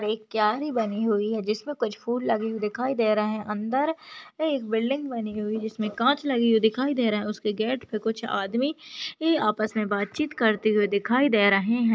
एक क्यारी बनी हुए है जिसमे कुछ फूल लेगे हुए दिखाई दे रहे है अंदर एक बिल्डिंग बनी हुई है जिसमे काच लगी हुई दिखाई दे रहा है उसके गेट पे कुछ आदमी आपस मे बात चित करते हुए दिखाई दे रहे है।